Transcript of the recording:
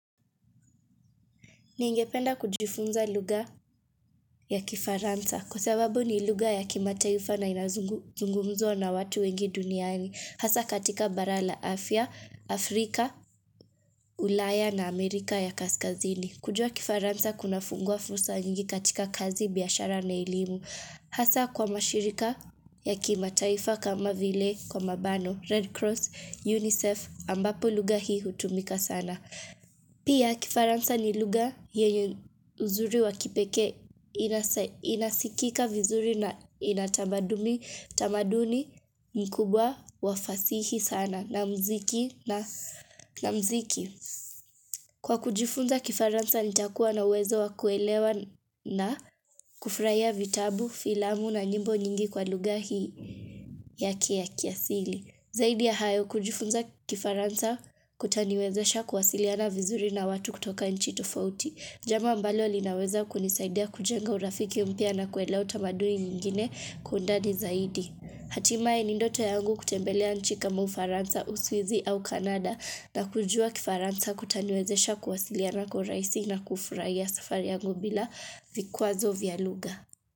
Ningependa kujifunza lugha ya kifaransa. Kwa sababu ni lugha ya kimataifa na inazungumzuwa na watu wengi duniani. Hasa katika Barala Afia, Afrika, ulaya na Amerika ya Kaskazini. Kujua kifaransa kuna funguwa fursa nyingi katika kazi biashara na elimu. Hasa kwa mashirika ya kimataifa kama vile kwa mabano Red Cross, UNICEF ambapo lugha hii hutumika sana. Pia kifaransa ni lugha yenye uzuri wa kipekee inasikika vizuri na inatamaduni mkubwa wafasihi sana na muziki na muziki. Kwa kujifunza kifaransa nitakuwa na wezo wa kuelewa na kufurahia vitabu, filamu na nyimbo nyingi kwa lugha hii ya kia kiasili. Zaidi ya hayo kujifunza kifaransa kutaniwezesha kuwasiliana vizuri na watu kutoka nchi tofauti. Jambo ambalo linaweza kunisaidia kujenga urafiki mpya na kuelewa tamaduni nyingine kuwa undani zaidi. Hatimaye nindoto yangu kutembelea nchi kama ufaransa, uswizi au Canada na kujua kifaransa kutaniwezesha kuwasiliana kwa rahisi na kufurahia safari yangu bila vikwazo vya lugha.